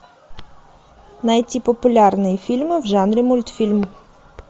найти популярные фильмы в жанре мультфильм